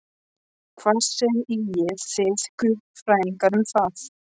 Hvað segið þið guðfræðingar um það?